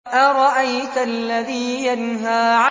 أَرَأَيْتَ الَّذِي يَنْهَىٰ